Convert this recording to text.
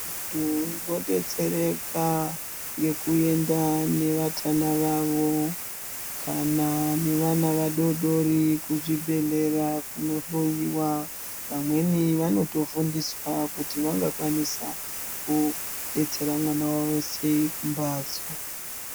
Vantu vodetsereka ngekuenda nevatana vavo kana nevana vadodori kuzvibhedhlera kunohloiwa. Vamweni vanotofundiswa kuti vangakwanisa kudetsera mwana wavo sei kumbatso.